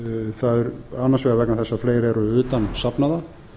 það er annars vegar vegna þess að fleiri eru utan safnaða